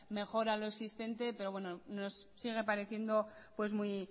mejoran lo existente pero bueno nos sigue pareciendo